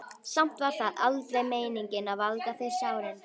Samt var það aldrei meiningin að valda þér sárindum.